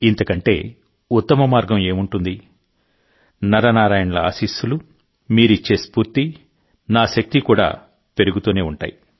ఇంతకంటే ఉత్తమ మార్గం ఏముంటుంది నర నారాయణుల ఆశీస్సులు మీరిచ్చే స్ఫూర్తి నా శక్తి కూడా పెరుగుతూనే ఉంటాయి